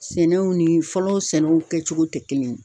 Sɛnɛw ni fɔlɔ sɛnɛw kɛcogo tɛ kelen ye